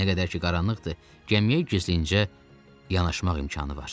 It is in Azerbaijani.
Nə qədər ki qaranlıqdır, gəmiyə gizlincə yanaşmaq imkanı var.